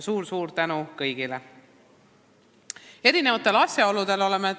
Suur-suur tänu kõigile!